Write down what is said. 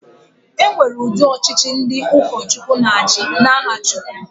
E nwere udị ọchịchị nke ndị ụkọchukwu na-achị n'aha Chukwu.